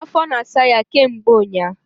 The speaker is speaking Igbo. Afo na asa ya ke mgbe unya